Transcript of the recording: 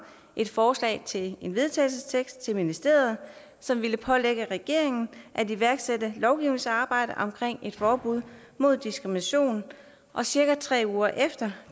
et forslag til en vedtagelsestekst til ministeriet som ville pålægge regeringen at iværksætte et lovgivningsarbejde om et forbud mod diskrimination og cirka tre uger efter